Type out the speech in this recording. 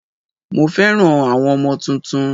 Mo fẹ́ràn àwọn ọmọ tuntun